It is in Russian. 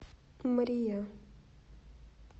мрия